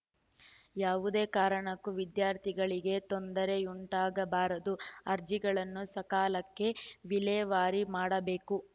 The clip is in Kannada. ಯಾವುದೇ ಕಾರಣಕ್ಕೂ ವಿದ್ಯಾರ್ಥಿಗಳಿಗೆ ತೊಂದರೆಯುಂಟಾಗಬಾರದು ಅರ್ಜಿಗಳನ್ನು ಸಕಾಲಕ್ಕೆ ವಿಲೇವಾರಿ ಮಾಡಬೇಕು